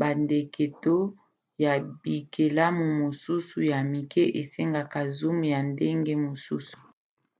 bandeke to ya bikelamu mosusu ya mike esengaka zoom ya ndenge mosusu